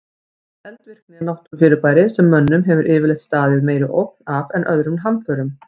Eldvirkni er náttúrufyrirbæri sem mönnum hefur yfirleitt staðið meiri ógn af en öðrum hamförum.